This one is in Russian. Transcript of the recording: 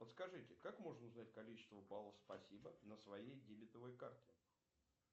подскажите как можно узнать количество баллов спасибо на своей дебетовой карте